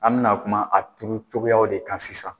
An bɛna kuma a turu cogoyaw de kan sisan.